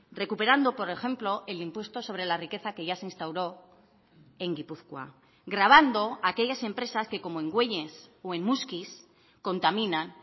recuperando por ejemplo el impuesto sobre la riqueza que ya se instauró en gipuzkoa grabando aquellas empresas que como en güeñes o en muskiz contaminan